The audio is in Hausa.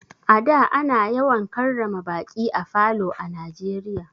A da ana yawan karrama baƙi a falo a Najeriya.